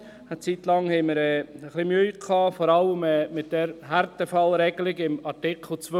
Eine Zeit lang hatten wir ein wenig Mühe, vor allem mit der Härtefallregelung in Artikel 2.